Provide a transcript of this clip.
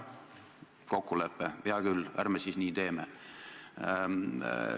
Oli kokkulepe, hea küll, ärme siis nii teeme.